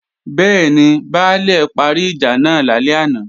Bẹ́ẹ̀ni, Baálè parí ìjà náà lálẹ́ àná